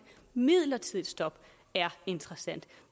midlertidigt stop er interessant